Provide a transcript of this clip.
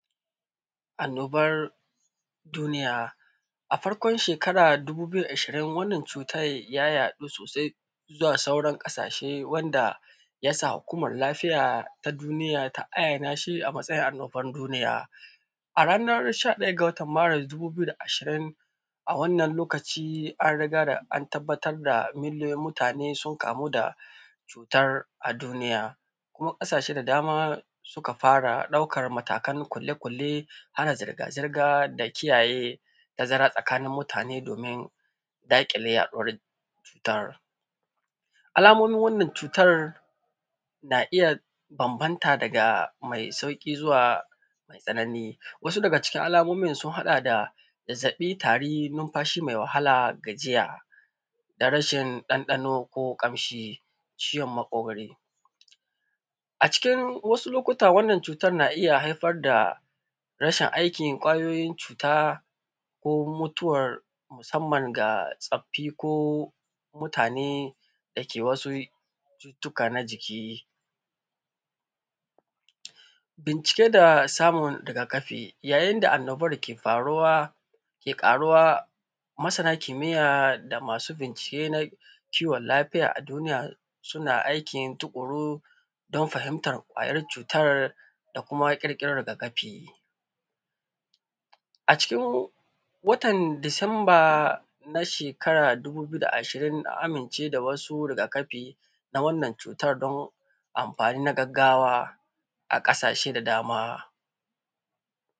Annobar duniya, a farkon shekara ta dubu biyu da ashirin wannan cuta ya yaɗu sosai zuwa sauran ƙasashe wanda hukumar lafiya ta duniya ta ayyana shi a matsayin annobar duniya. A ranar sha ɗaya ga watan Maris dubu biyu da ashirin, a wannan lokaci an rigaya an tabbatar da miliyoyin mutane sun kamu da cutar a duniya. Kuma ƙasashe da dama suka fara ɗaukar matakan kulle-kulle, hana zirga-zirga da kiyaye tazara tsakanin mutane domin daƙile yaɗuwar cutar. Alamomin wannan cutar na iya bambanta daga mai sauƙi zuwa mai tsanani. Wasu daga cikin alaomin sun haɗa da, zazzaɓi, tare, numfashi mai, wahal, gajiya, da rashin ɗanɗano ko ƙamshi, ciwon maƙogore. A cikin wasu lokuta wannan cutar na iya haifar da rashin aikin ƙwayoyin cuta ko mutuwar musamman ga tsaffi ko mutane da ke wasu cututtuka na jiki. Bincike da samun rigakafi ya, yayin da annobar ke faruwa ki ƙaruwa, masana kimiyya da masu bincike na kiwon lafiya a duniya suna aiki tuƙuru don fahimtar5 ƙwayar cutar da kuma ƙirƙirar rigakafi. A cikin watan Disamba na shekara ta dubu biyu da ashirin aka amince da wasu rigakafi na wannan cutar don amfani na gagggawa a ƙasashe da dama.